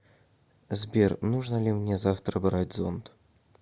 сбер нужно ли мне завтра брать зонт